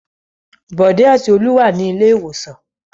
Bọ̀dé àti Olú wà ní ilé-ìwòsàn.